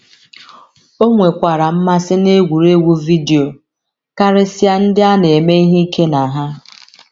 O nwekwara mmasị n’egwuregwu vidio, karịsịa ndị a na - eme ihe ike na ha.